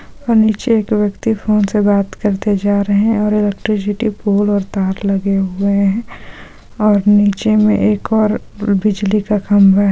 और नीचे एक व्यक्ति फ़ोन से बात करते जा रहे है और इलेक्ट्रिसिटी बोर्ड और तार लगे हुए है और नीचे में एक और बिजली का खम्बा है।